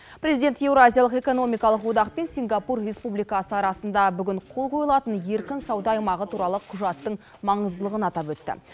президент еуразиялық экономикалық одақпен сингапур республикасы арасында бүгін қол қойылатын еркін сауда аймағы туралы құжаттың маңыздылығын атап өтті